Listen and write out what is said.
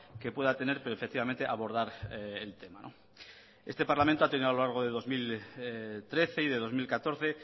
que pueda tener pero efectivamente abordar el tema este parlamento ha tenido a lo largo de dos mil trece y de dos mil catorce